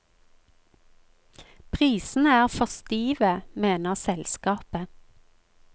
Prisene er for stive, mener selskapet.